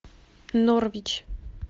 норвич